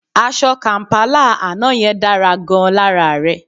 Aṣọ kàm̀pálà àná yẹn dára gan-an lára rẹ